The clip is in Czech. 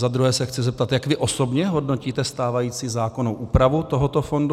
Za druhé se chci zeptat, jak vy osobně hodnotíte stávající zákonnou úpravu tohoto fondu.